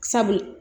Sabu